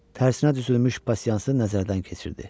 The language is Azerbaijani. Tərsinə düzülmüş pasiyansını nəzərdən keçirdi.